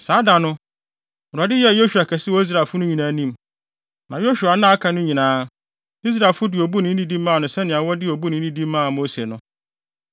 Saa da no, Awurade yɛɛ Yosua kɛse wɔ Israelfo no nyinaa anim; na Yosua nna a aka no nyinaa, Israelfo de obu ne nidi maa no sɛnea wɔde obu ne nidi maa Mose no.